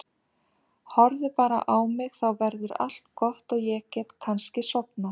Horfðu bara á mig, þá verður allt gott og ég get kannski sofnað.